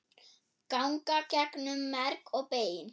ganga gegnum merg og bein